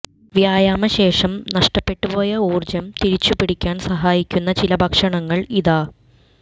വ്യായാമ ശേഷം നഷ്ടപ്പെട്ടുപോയ ഊർജ്ജം തിരിച്ചു പിടിക്കാൻ സഹായിക്കുന്ന ചില ഭക്ഷണങ്ങൾ ഇതാ